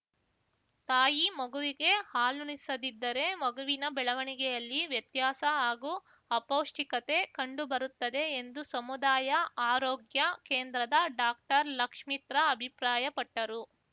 ತಾಯಿ ಮಗುವಿಗೆ ಹಾಲುಣಿಸದಿದ್ದರೆ ಮಗುವಿನ ಬೆಳವಣಿಗೆಯಲ್ಲಿ ವ್ಯತ್ಯಾಸ ಹಾಗೂ ಅಪೌಷ್ಟಿಕತೆ ಕಂಡು ಬರುತ್ತದೆ ಎಂದು ಸಮುದಾಯ ಆರೋಗ್ಯ ಕೇಂದ್ರದ ಡಾಕ್ಟರ್ ಲಕ್ಷಿತ್ರ್ಮ ಅಭಿಪ್ರಾಯಪಟ್ಟರು